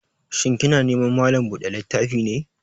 Shin kina neman malan buɗa littafi ne?